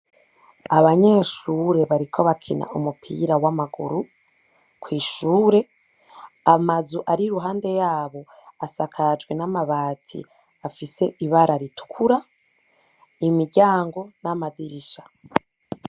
Abanyeshure bariko barakina umupira w'amaguru kw'ishure, amazu ari iruhande yabo, asakajwe n'amabati afise ibara ritukura, imiryango, n'amadirisha.